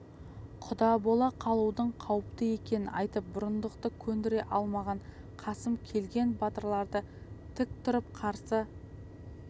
құда бола қалудың қауіпті екенін айтып бұрындықты көндіре алмаған қасым келген батырларды тік тұрып қарсы